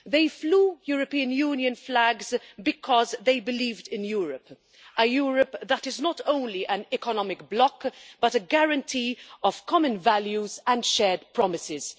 They flew European Union flags because they believed in Europe a Europe that is not only an economic bloc but also a guarantee of common values and shared promises.